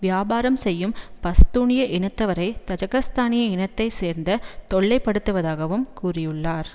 வியாபாரம் செய்யும் பஸ்தூனிய இனத்தவரை தஜிக்கிஸ்தானிய இனத்தை சேர்ந்த தொல்லைப்படுத்துவதாகவும் கூறியுள்ளார்